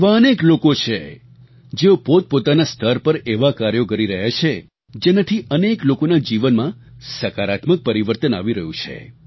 આવા અનેક લોકો છે જેઓ પોતપોતાના સ્તર પર એવાં કાર્યો કરી રહ્યાં છે જેનાથી અનેક લોકોના જીવનમાં સકારાત્મક પરિવર્તન આવી રહ્યું છે